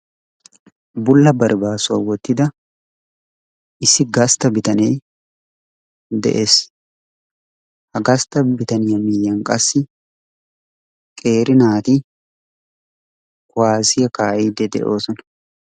Bulla baribaassuwaa woottida issi gastta bitanee de'ees. ha gastta bitaniyaa miyiyaan qassi qeeri naati kuwaasiyaa kaa"idi de"oosona.